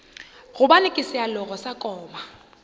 gobane ke sealoga sa koma